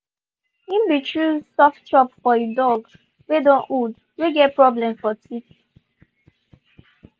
he been choose soft chop for he dog wey don old wey get problem for teeth.